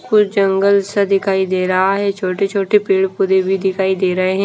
कुछ जंगल सा दिखाई दे रहा है छोटे छोटे पेड़ पौधे भी दिखाई दे रहे हैं।